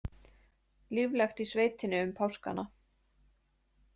Líflegt í sveitinni um páskana